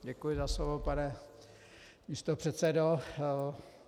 Děkuji za slovo, pane místopředsedo.